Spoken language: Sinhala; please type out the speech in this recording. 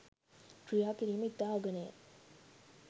ක්‍රියා කිරීම ඉතා අගනේය.